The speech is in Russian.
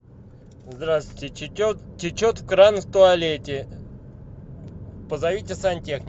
здравствуйте течет кран в туалете позовите сантехника